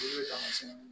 I bɛ taamasɛn ni